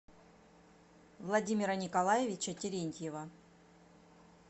владимира николаевича терентьева